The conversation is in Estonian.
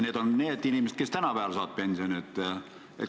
Need on need inimesed, kes saavad praegu pensioni.